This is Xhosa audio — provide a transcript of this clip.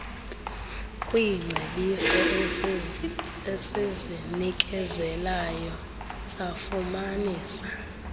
kwiingcebiso esizinikezelayo safumanisa